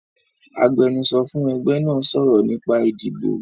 Agbẹ́nusọ́ fún ẹgbẹ́ náà sọ̀rọ̀ nípa ìdìbò